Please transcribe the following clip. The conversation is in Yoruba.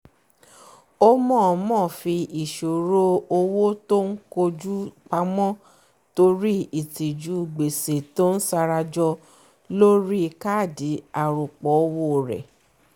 ó mọ̀ọ́mọ̀ fí ìṣòro owó tó ń koju pamọ́ torí ìtìjú gbèsè tí ń sarajọ lórí káàdì arọ́pò owó rẹ̀